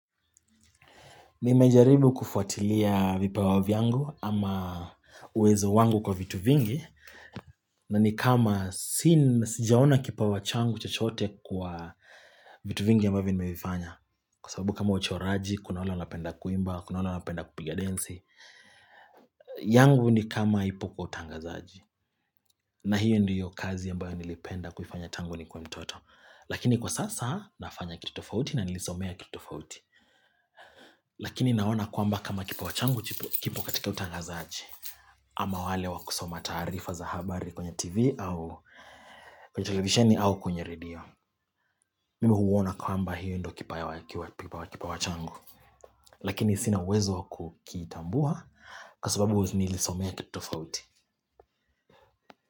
Mimejaribu kufuatilia vipawa vyangu ama uwezo wangu kwa vitu vingi na nikama sijaona kipawa changu chachote kwa vitu vingi ambavyo ni mevifanya Kwa sababu kama uchoraji, kuna wale napenda kuimba, kuna wala wapenda kupiga densi yangu ni kama ipo kwa utangazaji na hiyo ndiyo kazi ambayo nilipenda kufanya tangu nikiwa mtoto Lakini kwa sasa nafanya kitutofauti na nilisomea kitutofauti Lakini naona kwamba kama kipawa changu kipo katika utangazaji Ama wale wakusoma tarifa za habari kwenye tv au kwenye televisioni au kwenye radio Mimi huona kwamba hiyo ndio kipawa changu Lakini sina uwezo wa kukitambua kasubabu nilisomea kitu tofauti.